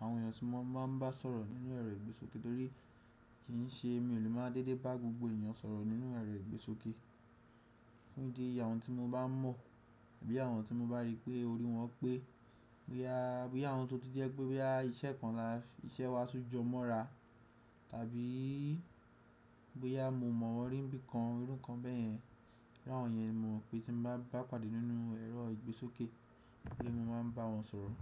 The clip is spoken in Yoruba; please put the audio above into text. àwọn ènìyàn tí mo máa ń bá sọ̀rọ̀ nínú ẹ̀rọ ìgbésókè torí kìi ṣe mi ò lè máa dédé bá gbogbo ènìyàn sọ̀rọ̀ nínú ẹ̀rọ ìgbésókè. Fun ìdí eyii? Àwọn tí mo bá mọ̀, àbí àwọn tí mo bá rí pé orí wọ́n pé, bóyá àwọn tó ti jẹ́ pé bóyá iṣẹ́ kan la iṣẹ́ wa tún jọ mọ́ra, tàbí bóyá mo mọ̀n wọ́n rí n bí kan iru nkan bẹ́yẹn. Iru awọn yẹn ni mo mọ̀ pé tí n bá pàdé nínú ẹ̀rọ ìgbésókè pé mo máa ń bá wọn sọ̀rọ̀.